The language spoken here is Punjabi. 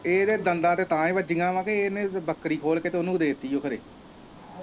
ਇਹਦੇ ਦੰਦਾਂ ਤੇ ਤਾਂ ਹੀ ਵੱਜੀਆ ਆ ਕਿ ਇੰਨੇ ਬੱਕਰੀ ਖੋਲ ਕੇ ਤੇ ਉਨੂੰ ਦੇਤੀ ਓ ਖਰੇ।